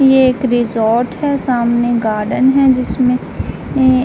ये एक रिसॉर्ट है। सामने गार्डन है जिसमें ए --